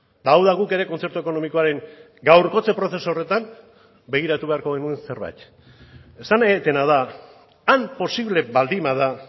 eta hau da guk ere kontzertu ekonomikoaren gaurkotze prozesu horretan begiratu beharko genuen zerbait esan nahi dudana da han posible baldin bada